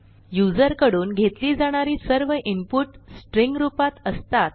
user कडून घेतली जाणारी सर्व इनपुट स्ट्रिंग रूपात असतात